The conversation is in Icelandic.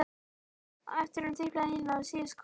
Á eftir honum tiplaði Nína og síðust kom Gerður.